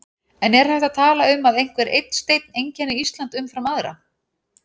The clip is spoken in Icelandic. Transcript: En er hægt að tala um að einhver einn steinn einkenni Ísland umfram aðra?